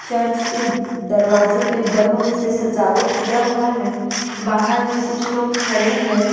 Church के दरवाजे पे बलून से सजावट किया हुआ है बाहर में कुछ लोग खड़े हैं।